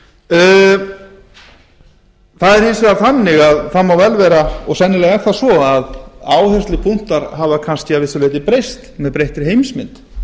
það er hins vegar þannig það má vel vera og sennilega er það svo að áherslupunktar hafa kannski að vissu leyti breyst með breyttri heimsmynd